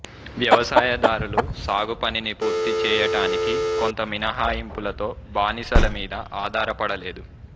వ్యవసాయదారులు సాగుపనిని పూర్తి చేయటానికి కొంత మినహాయింపులతో బానిసల మీద ఆధారపడలేదు